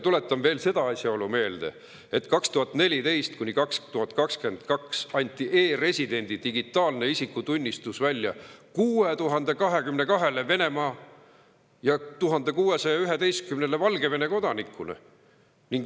Tuletan meelde veel seda asjaolu, et 2014–2022 anti e‑residendi digitaalne isikutunnistus välja 6022‑le Venemaa ja 1611‑le Valgevene kodanikule.